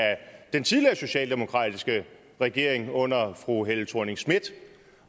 den tidligere socialdemokratiske regering under fru helle thorning schmidt